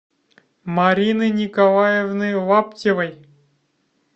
марины николаевны лаптевой